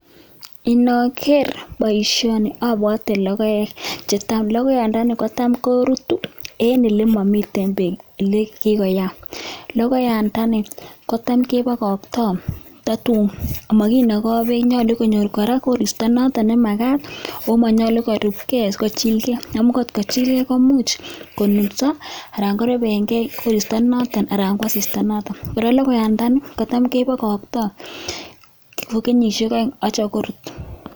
Inoker boisioni obwote logoek, logoiyandeni kotam korutu en ole momiten beek ele kikoyam, logoiyandeni kotam kebokoktoi kototun koet, mokinokoi beek ako nyolu konyor koristo notok nemagat akomonyolu korupkei sikochilgei ako kotkochilgei konunso anan korebengei koristo ak asista, kora logoiyandani kebokoktoi kenyisiek oeng' korut.